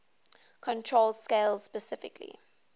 control scales specifically